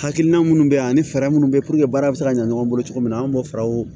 Hakilina minnu bɛ yan ani fɛɛrɛ minnu bɛ puruke baara bɛ se ka ɲɛ ɲɔgɔn bolo cogo min na an bɛ fɛɛrɛw